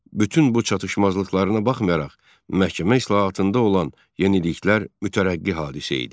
Bütün bu çatışmazlıqlarına baxmayaraq, məhkəmə islahatında olan yeniliklər mütərəqqi hadisə idi.